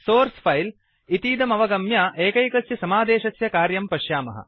source file -इतीदमवगम्य एकैकस्य समादेशस्य कार्यं पश्यामः